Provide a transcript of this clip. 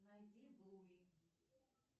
найди блуи